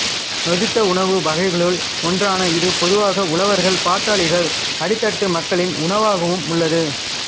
நொதித்த உணவு வகைகளுள் ஒன்றான இது பொதுவாக உழவர்கள் பாட்டாளிகள் அடித்தட்டு மக்களின் உணவாகவும் உள்ளது